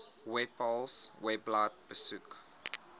webpals webblad besoek